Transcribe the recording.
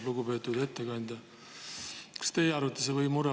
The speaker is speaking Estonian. Lugupeetud ettekandja!